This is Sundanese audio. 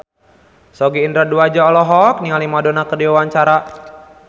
Sogi Indra Duaja olohok ningali Madonna keur diwawancara